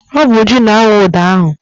Ọ bụ Uju na-awụ ụdọ ahụ.